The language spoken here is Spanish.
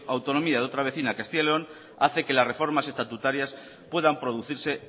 autonomía de otra vecina castilla y león hace que las reformas estatutarias puedan producirse